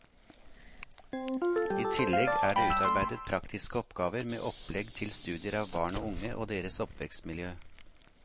I tillegg er det utarbeidet praktiske oppgaver med opplegg til studier av barn og unge og deres oppvekstmiljø.